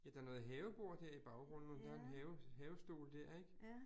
Ja der noget havebord dér i baggrunden, mon der er en have havestol dér ik